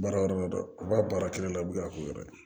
Baara yɔrɔ la dɛ u b'a baara kelen na u bɛ a k'u yɔrɔ ye